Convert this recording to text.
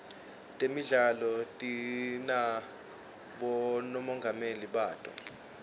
temidlalo tinabomongameli bato